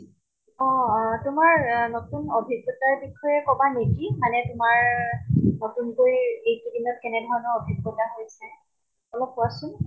অʼ অʼ । তোমাৰ আ নতুন অভিজ্ঞতা বিষয়ে কʼবা নেকি ? মানে তোমাৰ নতুন কৈ এইকেইদিনত কেনেধৰণৰ অভিজ্ঞতা হৈছে, অলপ কোৱাচোন ।